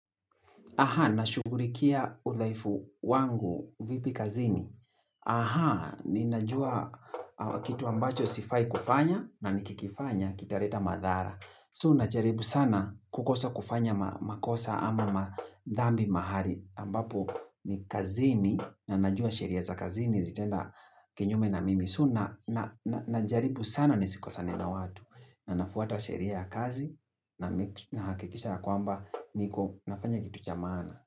Nashugurikia udhaifu wangu vipi kazini. Ninajua kitu ambacho sifai kufanya na nikikifanya kitareta madhara. So najaribu sana kukosa kufanya makosa ama madhambi mahali. Ambapo ni kazini na najua sheria za kazini zitaenda kinyume na mimi. So najaribu sana nisikosane na watu. Na nafuata sheria ya kazi na nahakikisha ya kwamba niko nafanya kitu cha maana.